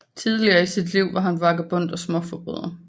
Tidligt i sit liv var han vagabond og småforbryder